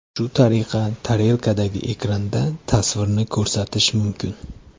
Shu tariqa tarelkadagi ekranda tasvirni ko‘rsatish mumkin.